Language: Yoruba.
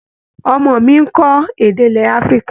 Ọmọ mi ń kọ́ èdè ilẹ̀ Afrika.